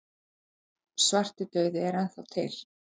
Já, svartidauði er enn þá til.